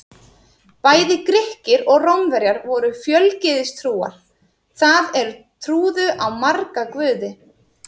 Bæði Grikkir og Rómverjar voru fjölgyðistrúar, það er trúðu á marga guði.